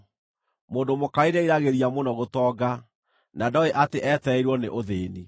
Mũndũ mũkarĩ nĩeriragĩria mũno gũtonga, na ndooĩ atĩ etereirwo nĩ ũthĩĩni.